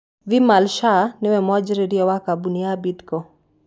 Vimal Shah niwe mwanjĩrĩria wa kambuni ya Bidco.